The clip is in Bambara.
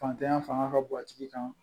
Fantanya fanga ka bon a tigi kan